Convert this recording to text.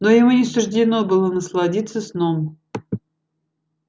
но ему не суждено было насладиться сном